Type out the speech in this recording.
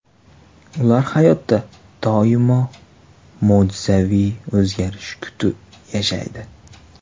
Ular hayotda doim mo‘jizaviy o‘zgarish kutib yashaydi.